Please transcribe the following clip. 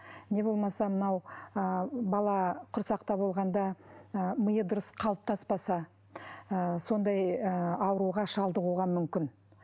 не болмаса мынау ы бала құрсақта болғанда ы миы дұрыс қалыптаспаса ы сондай ы ауруға шалдығуға мүмкін